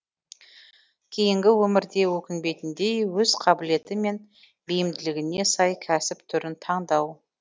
кейінгі өмірде өкінбейтіндей өз қабілеті мен бейімділігіне сай кәсіп түрін таңдау